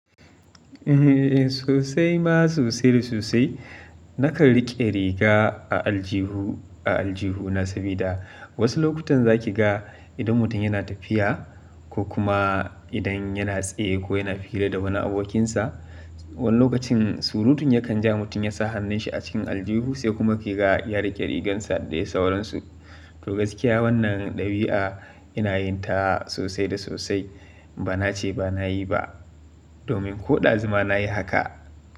Eh sosai ma sosai da sosai. Nakan riƙe riga a aljihu, a aljihu na sabida wasu lokutan za ki ga idan mutum yana tafiya ko kuma idan yana tsaye ko yana fira da wani abokinsa. Wani lokacin surutun yakan ja mutum ya sa hannunshi a cikin aljihu sai kuma kiga ya riƙe rigarsa da ya sauransu. To gaskiya wannan ɗabi'a ina yin ta sosai da sosai. Ba na ce ba na yi ba, domin ko ɗazu ma na yi haka.